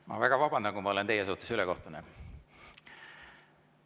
Ma väga vabandan, kui ma olen teie suhtes ülekohtune.